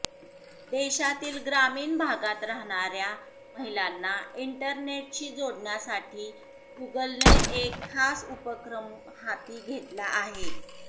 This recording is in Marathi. देशातील ग्रामीण भागात राहणाऱ्या महिलांना इंटरनेटशी जोडण्यासाठी गुगलने एक खास उपक्रम हाती घेतला आहे